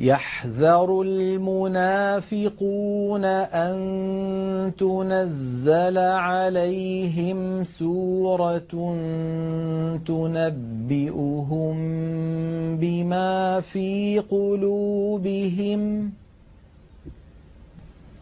يَحْذَرُ الْمُنَافِقُونَ أَن تُنَزَّلَ عَلَيْهِمْ سُورَةٌ تُنَبِّئُهُم بِمَا فِي قُلُوبِهِمْ ۚ